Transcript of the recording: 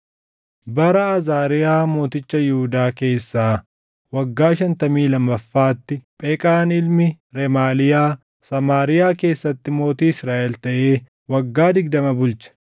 Bara Azaariyaa mooticha Yihuudaa keessaa waggaa shantamii lammaffaatti, Pheqaan ilmi Remaaliyaa Samaariyaa keessatti mootii Israaʼel taʼee waggaa digdama bulche.